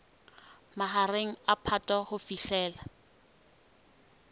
mahareng a phato ho fihlela